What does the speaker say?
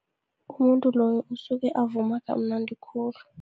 Umuntu loyo usuke avuma kamnandi khulu.